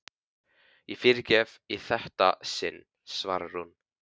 Ég fyrirgef í þetta sinn, svarar hún.